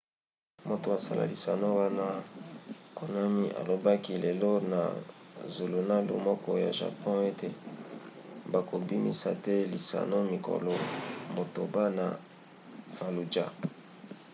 moto asala lisano wana konami alobaki lelo na zulunalu moko ya japon ete bakobimisa te lisano mikolo motoba na fallujah